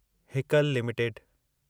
Haeckel limited